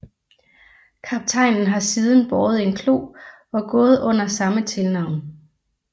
Kaptajnen har siden båret en klo og gået under samme tilnavn